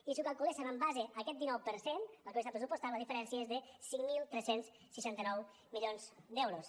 i si ho calculéssem en base a aquest dinou per cent el que hauria estat pressupostat la diferència és de cinc mil tres cents i seixanta nou milions d’euros